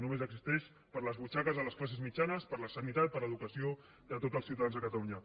només existeix per a les butxaques de les classes mitjanes per a la sanitat per a l’educació de tots els ciutadans de catalunya